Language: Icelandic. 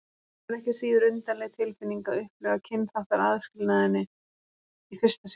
Það var ekki síður undarleg tilfinning að upplifa kynþáttaaðskilnaðinn í fyrsta sinn.